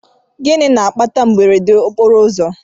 Gịnị na-akpata mberede okporoụzọ?